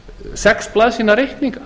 sex blaðsíðna reikninga